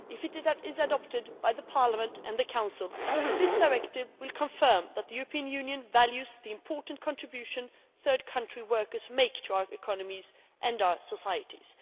If it is adopted by Parliament and the Council, this directive will confirm that the European Union values the important contribution third country workers make to our economies and our societies.